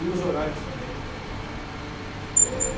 E os horários também, né. É...